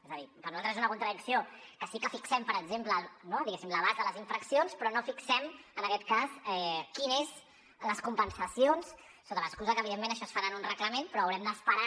és a dir per nosaltres és una contradicció que sí que fixem per exemple diguéssim l’abast de les infraccions però no fixem en aquest cas quines són les compensacions sota l’excusa que evidentment això es farà en un reglament però haurem d’esperar